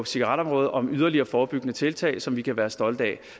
cigaretområdet om yderligere forebyggende tiltag som vi kan være stolte af